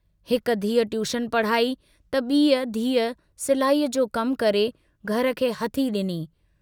हिक धीउ ट्यूशन पढ़ाई त बीअ धीउ सिलाईअ जो कमु करे घर खे हथी डिनी।